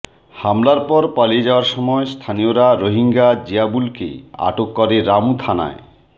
হামলার পর পালিয়ে যাওয়ার সময় স্থানীয়রা রোহিঙ্গা জিয়াবুলকে আটক করে রামু থানায়